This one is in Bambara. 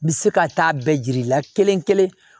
N bɛ se ka taa bɛɛ jiri la kelen-kelen